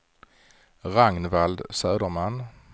Ragnvald Söderman